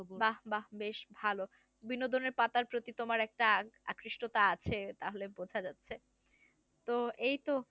বাহ বাহ বেশ ভালো বিনোদনের পাতার প্রতি তোমার একটা আকৃষ্টতা আছে। তাহলে বোঝা যাচ্ছে তো এই তো